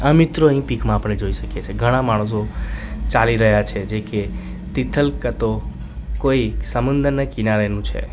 આ મિત્રો પીક માં આપણે જોઈ શકીએ છીએ ઘણા માણસો ચાલી રહ્યા છે જે કે તિથલ કતો કોઈ સમુદ્રના કિનારે નું છે.